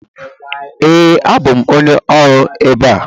Ee, abụ m onye ọrụ ebe a.